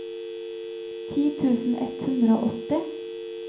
ti tusen ett hundre og åtti